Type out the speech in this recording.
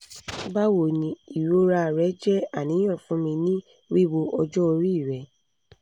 bawoni irora re je aniyan fun mi ni wiwo ojo ori re